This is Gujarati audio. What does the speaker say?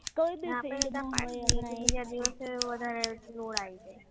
કોઈ દિવસ વધારે લોડ આવી જાય